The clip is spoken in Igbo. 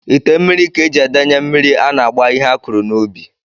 Ite mmiri ka e ji edenye mmiri a na-agba ihe a kụrụ n'ubi